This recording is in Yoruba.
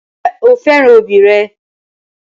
Ǹjẹ́ o fẹ́ràn òbí rẹ?